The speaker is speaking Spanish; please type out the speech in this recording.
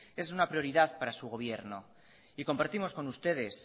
es una prioridad para su gobierno y compartimos con ustedes